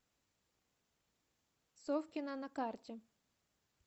совкино на карте